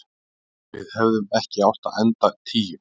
Við hefðum ekki átt að enda tíu.